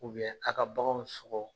aw ka baganw sɔgɔ.